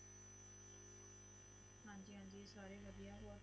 ਹਾਂਜੀ ਹਾਂਜੀ ਸਾਰੇ ਵਧੀਆ